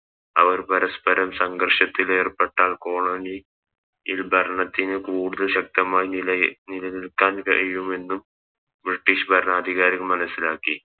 അവർ പരസ്പ്പരം സങ്കർഷത്തിലേർപ്പെട്ടാൽ കോളനി യിൽ ഭരണത്തിന് കൂടുതൽ ശക്തമായി നിലനിക്കാൻ കഴിയുമെന്ന് ബ്രിട്ടീഷ് ഭരണാധികാരി മനസ്സിലാക്കി